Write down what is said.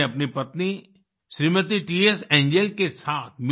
उन्होंने अपनी पत्नी श्रीमती टीएस एंजेल tएस